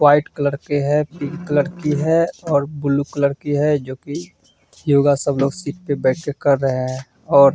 White colour की है pink colour की है और ब्लू कलर की है जो की योगा सब लोग सीट पे बैठ के कर रहे है ।